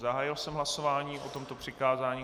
Zahájil jsem hlasování o tomto přikázání.